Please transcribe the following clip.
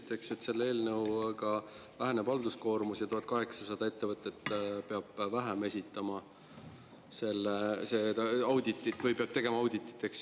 Te ütlesite, et selle eelnõuga väheneb halduskoormus ja et 1800 ettevõtet vähem peab tegema auditit.